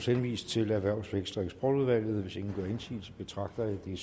henvises til erhvervs vækst og eksportudvalget hvis ingen gør indsigelse betragter jeg